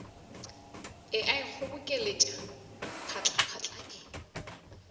e a ikgobokeletša phatlaphatla e